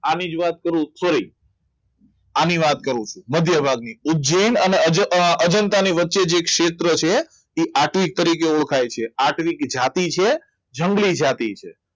આને જ વાત કરું sorry આની વાત કરું છું મધ્યભાગની ઉજ્જૈન અને અર્જન્ટાની વચ્ચે જે એક ક્ષેત્ર છે એ આત્વિક સિદ્રકો તરીકે ઓળખાય છે આત્વિક જાતિ છે જંગલી જાતિ છે